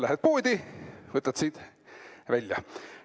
Lähed poodi, võtad siit välja.